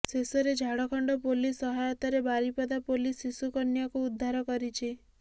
ଶେଷରେ ଝାଡ଼ଖଣ୍ଡ ପୋଲିସ୍ ସହାୟତାରେ ବାରିପଦା ପୋଲିସ୍ ଶିଶୁକନ୍ୟାକୁ ଉଦ୍ଧାର କରିଛି